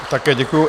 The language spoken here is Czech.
Také děkuju.